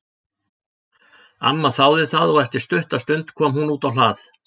Amma þáði það og eftir stutta stund kom hún út á hlað.